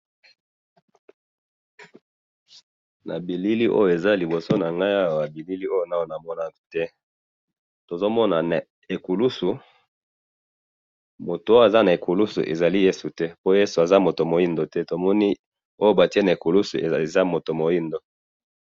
na bilili oyo eza liboso nangai awa, na bilili oyo ngai namonaki te, tozomona mais ekulusu, mutu oyo aza na ekulusu ezali Yesu te, pe Yesu aza mutu muindo te, tomoni oyo batie na ekulusu eza mutu muindo